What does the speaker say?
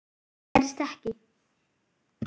Það gerðist ekki.